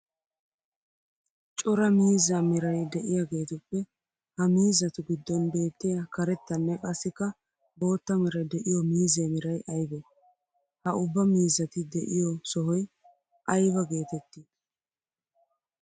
Cora miizza meray de'iyagettuppe ha miizzattu gidon beettiya karettanne qassikka bootta meray de'iyo miizze meray aybbe? Ha ubba miizzatti de'iyo sohoy aybba geetetti?